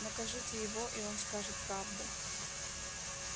накажите его и он скажет правду